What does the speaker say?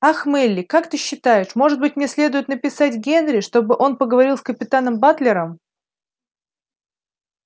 ах мелли как ты считаешь может быть мне следует написать генри чтобы он поговорил с капитаном батлером